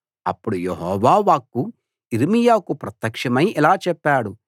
అప్పుడు యెహోవా వాక్కు యిర్మీయాకు ప్రత్యక్షమై ఇలా చెప్పాడు